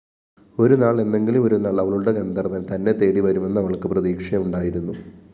ഒരുനാള്‍ എന്നെങ്കിലുമൊരുനാള്‍ അവളുടെ ഗന്ധര്‍വന്‍ തന്നെത്തേടി വരുമെന്നവള്‍ക്ക്‌ പ്രതീക്ഷയുണ്ടായിരുന്നു